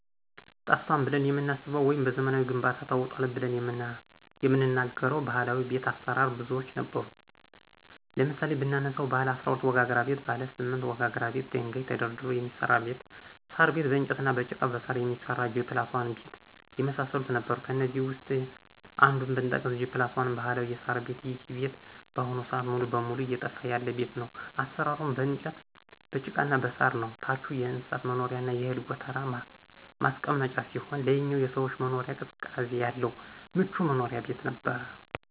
ጠፍቷል ብለን የምናስበው ወይም በዘመናዊ ግንባታ ተውጧል ብለን የምንናገረው ባህላዊ ቤት አሰራር ብዙዎች ነበሩ ለምሳሌ ብናነሳቸው ባለ12 ወጋግራ ቤት :ባለ8 ወጋግራ ቤት ደንጋይ ተደርድሮ የሚሰራ ቤት :ሳር ቤት በእንጨትና በጭቃ በሳር የሚሰራ G+1 ቤት የመሳሰሉት ነበሩ ከእነዚህ ውስጥ አንዱን ብጠቅስ G+1 ባህላዊ የሳር ቤት ይሄ ቤት በአሁኑ ስአት ሙሉ በሙሉ እየጠፋ ያለ ቤት ነው አሰራሩም በእንጨት በጭቃና በሳር ነው ታቹ የእንስሳት መኖሪያና የእህል ጎተራ ማስቀመጫ ሲሆን ላይኛው የሰዎች መኖሪያ ቅዝቃዜ ያለው ምቹ መኖሪያ ቤት ነበር።